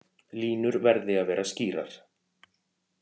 Línur verði að vera skýrar